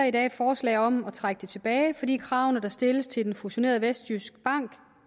i dag et forslag om at trække aktstykket tilbage fordi kravene der stilles til den fusionerede vestjyskbank